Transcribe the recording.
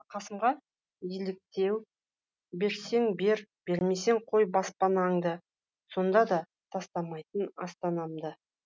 қасымға еліктеу берсең бер бермесең қой баспанаңды сонда да тастамайтын астанамды